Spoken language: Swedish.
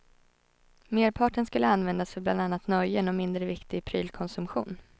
Merparten skulle användas för bland annat nöjen och mindre viktig prylkonsumtion.